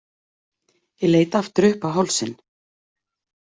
Ég leit aftur upp á hálsinn.